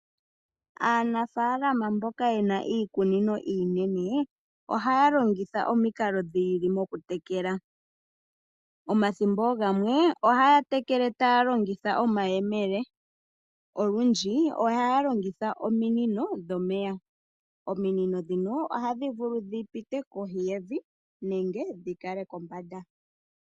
Aanafaalama mboka ye na iikunino iinene, ohaya longitha omikalo dhiili dhoku tekela. Omathimbo oogamwe ohaya tekele taya longitha omayemele, olundji ohaya longitha ominino dhomeya. Ominino ndhono ohadhi vulu dhi pite kohi yevi nenge dhi kale kombanda.